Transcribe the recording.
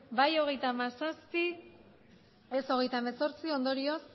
bai hogeita hamazazpi ez hogeita hemezortzi ondorioz